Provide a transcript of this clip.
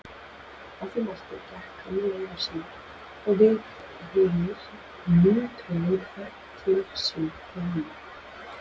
Að því mæltu gekk hann leiðar sinnar og við hinir lötruðum hver til síns heima.